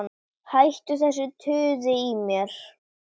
Hættu þessu tuði í mér.